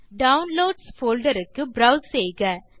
downloads folder க்கு browse செய்க